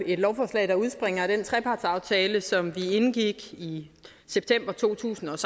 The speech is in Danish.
et lovforslag der udspringer af den trepartsaftale som vi indgik i september to tusind og